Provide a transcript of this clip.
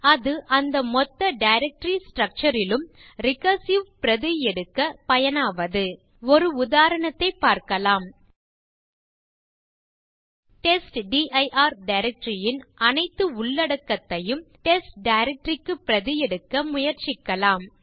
இது அந்த மொத்த டைரக்டரி ஸ்ட்ரக்சர் லும் ரிகர்சிவ் பிரதி எடுக்க பயனாவது ஒரு உதாரணத்தைப் பார்க்கலாம் டெஸ்ட்டிர் டைரக்டரி யின் அனைத்து உள்ளடக்கத்தையும் டெஸ்ட் டைரக்டரி க்கு பிரதி எடுக்க முயற்சிக்கலாம்